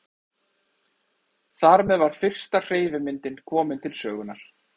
Þar með var fyrsta hreyfimyndin komin til sögunnar.